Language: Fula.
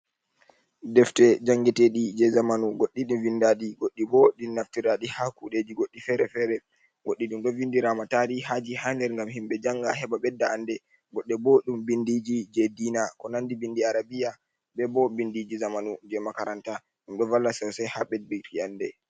Ɗeftere jangeteɗi je zamanu. Goɗɗi ɗin vinɗaɗi, goɗɗi ɓo ɗin naftiraɗi ha kuɗeji goɗɗi fere-fere. Goɗɗi ɗum ɗo vinɗirama tarihaji ha nɗer ngam himɓe janga, heɓa ɓeɗɗa anɗe. Goɗɗe ɓo ɗum binɗiji je ɗiina, ko nanɗi ɓinɗi Arabiya. Ɓe ɓo ɓinɗiji zamanu je makaranta. Ɗum ɗo valla sosai ha ɓeɗɗuki anɗe.